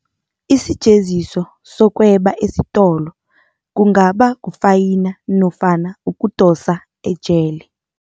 Isijeziso sokweba esitolo kungaba kufayina nofana ukudosa ejele.